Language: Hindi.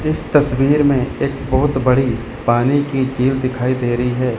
इस तस्वीर में एक बहुत बड़ी पानी की झील दिखाई दे रही है।